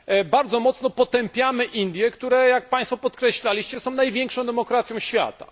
bardzo mocno potępiamy Indie, które, jak Państwo podkreślaliście, są największą demokracją świata.